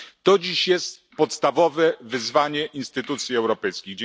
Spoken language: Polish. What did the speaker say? To dziś jest podstawowe wyzwanie instytucji europejskich.